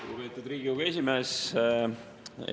Lugupeetud Riigikogu esimees!